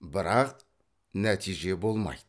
бірақ нәтиже болмайды